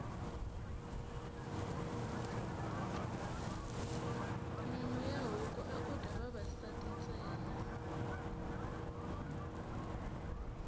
nyama ya huku aku dya vavasati ntsena